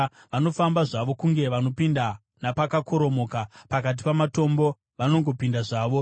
Vanofamba zvavo kunge vanopinda napakakoromoka; pakati pamatongo vanongopinda zvavo.